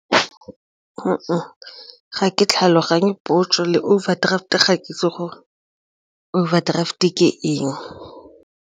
Ga ke tlhaloganye potso le overdraft ga ke itse gore overdraft-e ke eng.